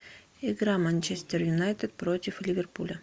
игра манчестер юнайтед против ливерпуля